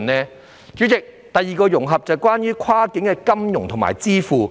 代理主席，第二個融合是關於跨境金融和電子支付。